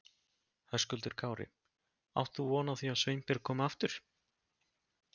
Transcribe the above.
Höskuldur Kári: Átt þú von á því að Sveinbjörg komi aftur?